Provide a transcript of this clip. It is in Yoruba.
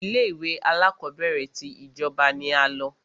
Ilé ìwé alákọ̀berẹ̀ tí ìjọba ní a lọ.